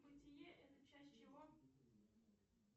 бытие это часть чего